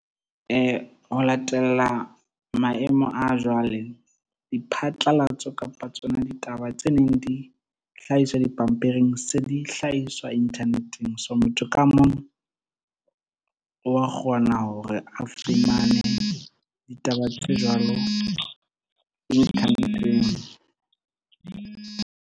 Ho latella maemo a jwale diphatlalatso kapa tsona ditaba tse neng di hlahiswa dipampiring se dihlahiswa internet-eng. So motho ka mong wa kgona hore a fumane ditaba tse jwalo .